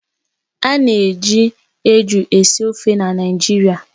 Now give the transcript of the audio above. Ana eji eju esi ofe na Naịjirịa